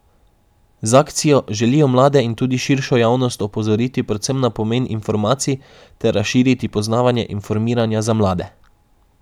Z akcijo želijo mlade in tudi širšo javnost opozoriti predvsem na pomen informacij ter razširiti poznavanje informiranja za mlade.